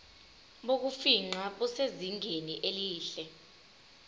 bokufingqa busezingeni elihle